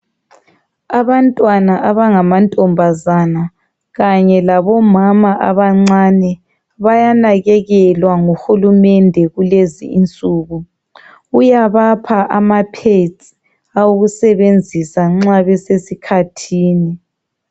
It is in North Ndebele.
Abantwana abangama ntombazana Kanye labomama abancane bayanakekelwa nguHulumende kulezinsuku uyabapha ama pads awokusebenzisa nxa besesikhathini